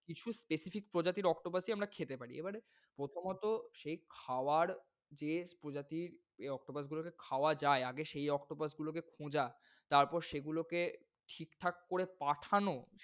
কিছু specific প্রজাতির octopus ই আমরা খেতে পারি। এবারে প্রথমত সেই খাওয়ার taste প্রজাতির এই octopus গুলোকে খাওয়া যায়। আগে সেই octopus গুলোকে খোঁজা তারপর সেগুলোকে ঠিকঠাক করে পাঠানো,